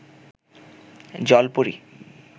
জলপরী